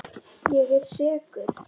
Ég er sekur.